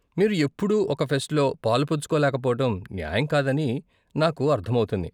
మీరు ఎప్పుడూ ఒక ఫెస్ట్లో పాలుపంచుకోలేకపోవటం న్యాయం కాదని నాకు అర్ధం అవుతుంది.